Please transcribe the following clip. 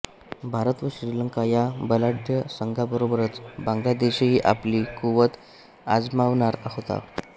भारत व श्रीलंका या बलाढ्य संघाबरोबरच बांगलादेशही आपली कुवत अजमावणार होता